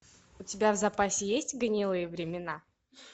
у тебя в запасе есть гнилые времена